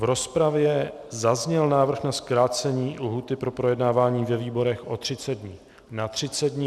V rozpravě zazněl návrh na zkrácení lhůty pro projednávání ve výborech o 30 dnů na 30 dnů.